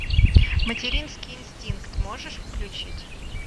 материнский инстинкт можешь включить